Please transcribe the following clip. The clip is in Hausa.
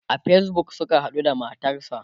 a Facebook Suka haɗu da matarsa